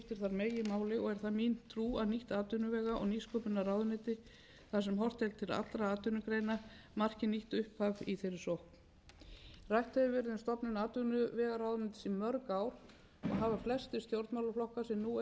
meginmáli og er það mín trú að nýtt atvinnuvega og nýsköpunarráðuneyti þar sem horft er til allra atvinnugreina marki nýtt upphaf í þeirri sókn rætt hefur verið um stofnun atvinnuvegaráðuneytið í mörg ár og hafa flestir stjórnmálaflokkar sem nú eiga fulltrúa á þingi á undanförnum